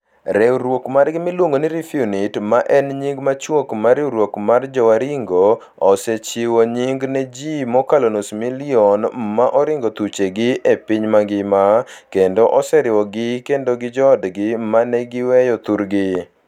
Riwruok margi miluongo ni REFUNITE, ma en nying machuok mar Riwruok mar Jowaringo, osechiwo nying' ne ji mokalo nus milion ma oringo thuchegi e piny mangima, kendo oseriwogi kendo gi joodgi ma ne giweyo thurgi.